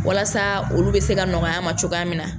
Walasa olu bɛ se ka nɔgɔya an ma cogoya min na.